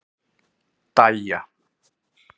Dæja